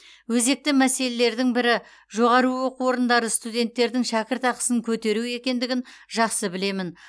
өзекті мәселелердің бірі жоғары оқу орындары студенттердің шәкіртақысын көтеру екендігін жақсы білемін